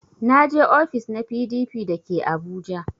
Na je ofis na PDP da ke abuja